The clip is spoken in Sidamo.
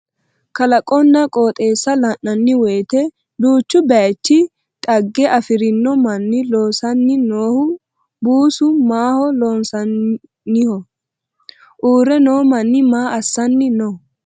kalaqonna qoxeessa la'nanni woyiite duuchu bayeechi dhagge afirino mannu loosanni noohu buusu maaho loonsoonniho? uurre noo manni maa assanni no?